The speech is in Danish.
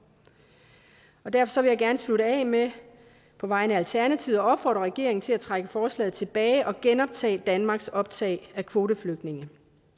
derfor vil jeg gerne slutte af med på vegne af alternativet at opfordre regeringen til at trække forslaget tilbage og genoptage danmarks optag af kvoteflygtninge